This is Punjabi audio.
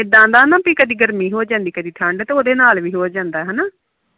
ਇਦਾ ਦਾ ਨਾ ਪੀ ਕਦੀ ਗਰਮੀ ਹੋ ਜਾਂਦੀ ਤੇ ਕਦੀ ਠੰਡ ਤੇ ਉਹਦੇ ਨਾਲ ਵੀ ਹੋ ਜਾਂਦਾ ਹੰਨਾ